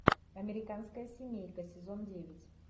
американская семейка сезон девять